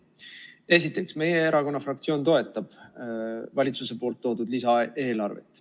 Esiteks, meie erakonna fraktsioon toetab valitsuse poolt toodud lisaeelarvet.